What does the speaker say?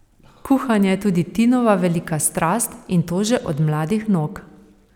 Kuhanje je tudi Tinova velika strast, in to že od mladih nog.